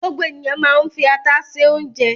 Gbogbo ènìyàn máa ń fi ata se oúnjẹ.